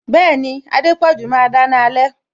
Bẹẹni, Adepoju máa dáná alẹ